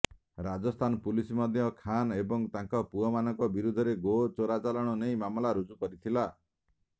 Rajasthan police ମଧ୍ୟ ଖାନ୍ ଏବଂ ତାଙ୍କ ପୁଅମାନଙ୍କ ବିରୋଧରେ ଗୋ ଚୋରାଚାଲାଣ ନେଇ ମାମଲା ରୁଜୁ କରିଥିଲ